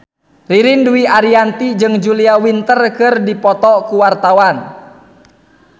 Ririn Dwi Ariyanti jeung Julia Winter keur dipoto ku wartawan